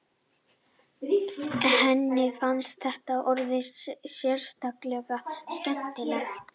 Henni fannst þetta orð sérstaklega skemmtilegt.